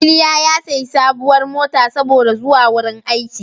Iliya ya sayi sabuwar mota saboda zuwa wrin aiki.